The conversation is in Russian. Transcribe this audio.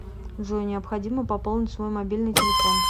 джой необходимо пополнить свой мобильный телефон